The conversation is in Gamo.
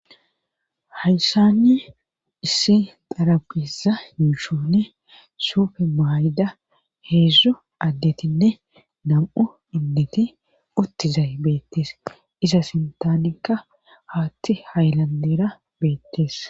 Hayssanne issi xarapiza hiushunne suufe mayda heedzdzu addetinne nam7u inneti uttizay beettees iza sintanekka haatti haylandera beettees.